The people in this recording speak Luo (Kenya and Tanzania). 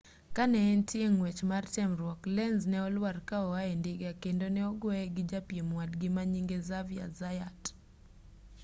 ka ne entie ng'wech mar temruok lenz ne olwar ka oae ndiga kendo ne ogueye gi japiem wadgi manyinge xavier zayat